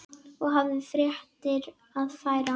Og hafði fréttir að færa.